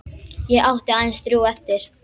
Ég átti aðeins þrjú eftir.